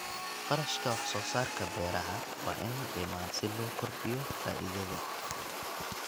Kharashka Wax-soo-saarka Beeraha waa in la dhimaa si loo kordhiyo faa'iidada.